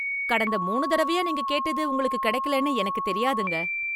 கடந்த மூணு தடவையா நீங்க கேட்டது உங்களுக்கு கிடைக்கலைன்னு எனக்குத் தெரியாதுங்க.